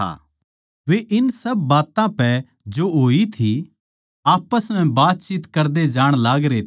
वे इन सब बात्तां पै जो होई थी आप्पस म्ह बातचीत करदे जाण लागरे थे